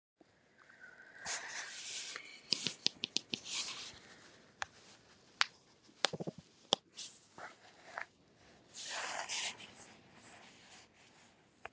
ýmis rök hafa verið færð fyrir beitingu dauðarefsinga